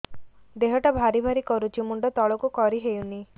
ଦେହଟା ଭାରି ଭାରି କରୁଛି ମୁଣ୍ଡ ତଳକୁ କରି ହେଉନି